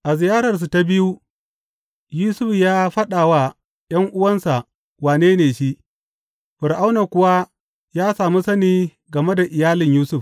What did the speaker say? A ziyararsu ta biyu, Yusuf ya faɗa wa ’yan’uwansa wane ne shi, Fir’auna kuwa ya sami sani game da iyalin Yusuf.